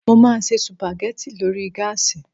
Mo máa se sùpàgẹ́ti lórí gáàsì